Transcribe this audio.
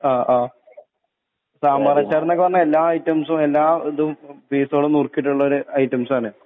ആ ആ സാമ്പാറച്ചാറ്ന്നൊക്കെ പറഞ്ഞ എല്ലാ ഐറ്റംസും എല്ലാ ഇതും പീസോള് നുർക്കിയിട്ടുള്ളൊരു ഐറ്റംസാണ്